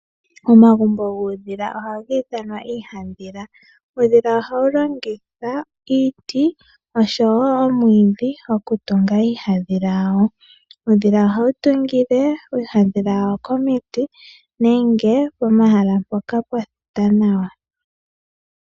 Omagumbo guudhila ohaga ithanwa iihadhila. ohawu iiti oshowo uudhila ohawu tungile iihadhila yawo komiti nenge pomahala mpoka pwa thita nawa.